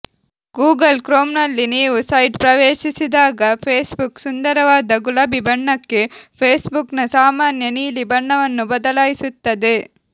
Google ಕ್ರೋಮ್ನಲ್ಲಿ ನೀವು site ಪ್ರವೇಶಿಸಿದಾಗ ಫೇಸ್ಬುಕ್ ಸುಂದರವಾದ ಗುಲಾಬಿ ಬಣ್ಣಕ್ಕೆ ಫೇಸ್ಬುಕ್ನ ಸಾಮಾನ್ಯ ನೀಲಿ ಬಣ್ಣವನ್ನು ಬದಲಾಯಿಸುತ್ತದೆ